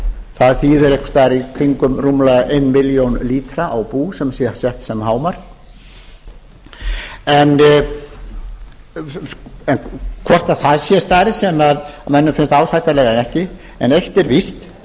það þýðir einhvers staðar í kringum rúmlega eina milljón lítra á bú sem sé sett sem hámark hvort það er stærð sem mönnum finnst ásættanleg eða ekki en eitt er víst